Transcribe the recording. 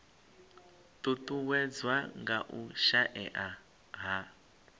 ṱuṱuwedzwa nga u shaea ha